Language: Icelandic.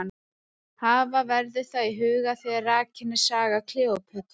Hafa verður það í huga þegar rakin er saga Kleópötru.